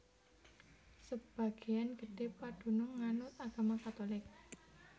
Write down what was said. Sebagéan gedhé padunung nganut agama Katulik